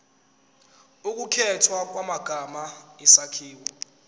ukukhethwa kwamagama isakhiwo